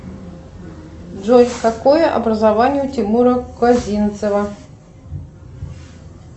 джой какое образование у тимура козинцева